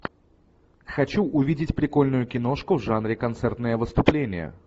хочу увидеть прикольную киношку в жанре концертное выступление